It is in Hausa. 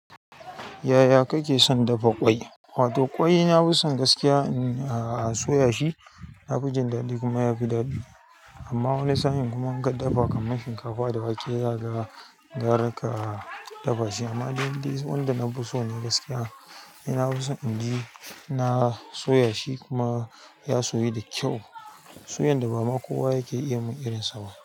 Yaya kake son dafa ƙwai? Wato ƙwai na fi son gaskiya a soya shi na fi jin daɗi kuma ya fi daɗi. Amma wani sa in kuma in ka dafa kaman shinkafa da wake za ka ga gara ka dafa shi. Amma indai wanda na fiso ne gaskiya ni nafiso inji na soyashi kuma ya soyu da kyau. Soyayyar da ba ma kowa yake iya mun irinsa ba.